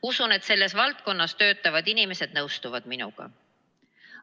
Usun, et selles valdkonnas töötavad inimesed nõustuvad minuga.